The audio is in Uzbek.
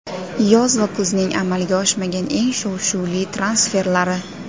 Yoz va kuzning amalga oshmagan eng shov-shuvli transferlari.